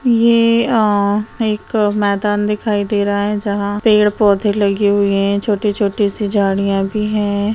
ये अ एक मैदान दिखाई दे रहा है जहाँ पेड़-पौधे लगे हुए है छोटे-छोटे सी झाड़ियाँ भी है।